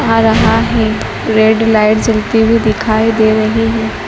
आ रहा है red light जलती हुई दिखाई दे रही है।